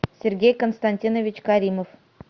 сергей константинович каримов